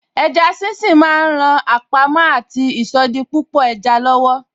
Eja sínsín ma ń ran àpamọ́ àti ìsọdipúpọ̀ eja lọ́wọ́.